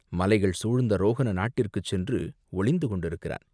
மலைகள் சூழ்ந்த ரோஹண நாட்டிற்குச் சென்று ஒளிந்து கொண்டிருக்கிறான்.